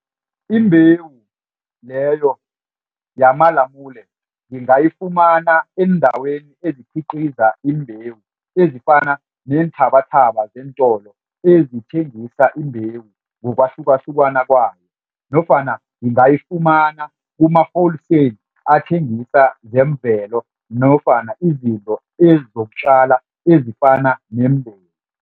Imbewu leyo yamalamule ngingafumana eendaweni ezikhiqiza imbewu ezifana neenthabathaba zeentolo ezithengisa imbewu ngokwahlukahlukana kwayo nofana ngingayifumana kuma-wholesale athengisa zemvelo nofana izinto ezizokutjala ezifana neembewu.